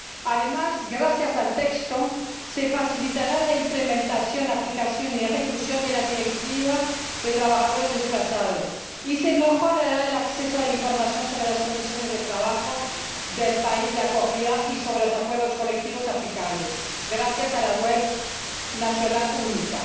Además, gracias al texto, se facilitará la implementación, aplicación y ejecución de la Directiva sobre trabajadores desplazados y se mejorará el acceso a la información sobre las condiciones de trabajo del país de acogida y sobre los acuerdos colectivos aplicables gracias a la web nacional única.